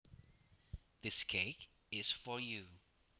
This cake is for you